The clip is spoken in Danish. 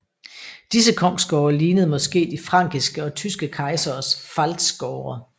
Disse kongsgårde lignede måske de frankiske og tyske kejseres pfalzgårde